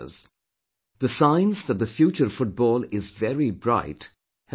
The signs that the future of football is very bright have started to appear